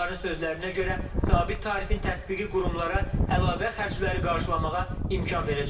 Onların sözlərinə görə, sabit tarifin tətbiqi qurumlara əlavə xərcləri qarşılamağa imkan verəcək.